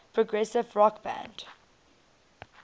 progressive rock band